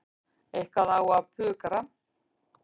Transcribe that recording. Eitthvað á að pukra.